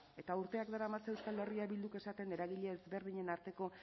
eta urteak daramatza euskal herria bilduk esaten eragile ezberdinen